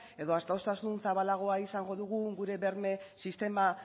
edo adostasun zabalagoa izango dugu gure berme sistema